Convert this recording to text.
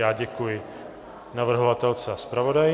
Já děkuji navrhovatelce a zpravodaji.